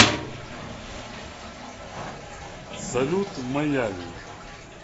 салют в майами